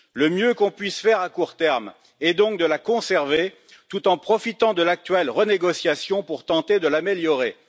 Le mieux que l'on puisse faire, à court terme, est donc de la conserver, tout en profitant de l'actuelle renégociation pour tenter de l'améliorer.